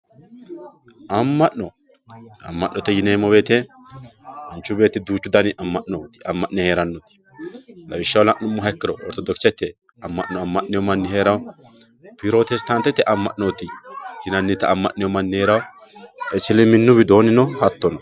amma'no, amma'note yineemmo woyiite manchu beetti duuchu dani amma'nooti amma'ne heerannoti lawishshaho la'nummoha ikkiro ortodokisete amma'no amma'newoo manni heerawoo pirotestaantete amma'noota amma'newoo manni heerawoo isiliminnu widoonnino hattono.